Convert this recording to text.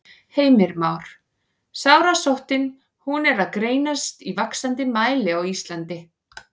Heimir Már: Sárasóttin, hún er að greinast í vaxandi mæli á Íslandi?